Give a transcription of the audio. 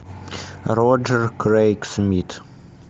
роджер крэйг смит